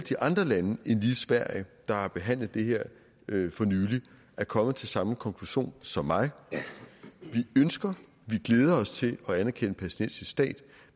andre lande end lige sverige der har behandlet det her for nylig er kommet til samme konklusion som mig vi ønsker og glæder os til at anerkende en palæstinensisk stat